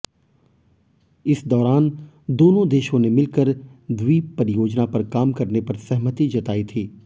इस दौरान दोनों देशों ने मिलकर द्वीप परियोजना पर काम करने पर सहमति जताई थी